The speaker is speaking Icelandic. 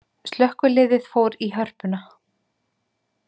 Slökkviliðið fór í Hörpuna